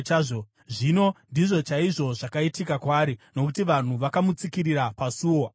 Zvino ndizvo chaizvo zvakaitika kwaari, nokuti vanhu vakamutsikirira pasuo, akafa.